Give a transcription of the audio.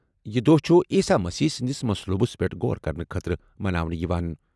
یہِ دۄہ چھُ عیسیٰ مسیح سٕنٛدِس مصلوبَس پٮ۪ٹھ غور کرنہٕ خٲطرٕ مناونہٕ یِوان۔